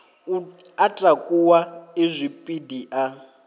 a takuwa e zwipidi a